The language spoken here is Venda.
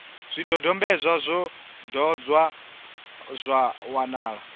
zwidodombedzwa zwo ṱolwa zwa wanala